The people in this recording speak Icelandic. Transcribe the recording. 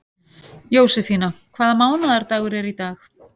Jósefína, hvaða mánaðardagur er í dag?